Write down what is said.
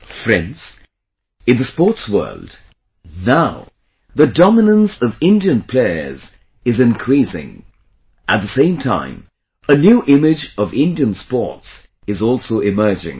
Friends, in the sports world, now, the dominance of Indian players is increasing; at the same time, a new image of Indian sports is also emerging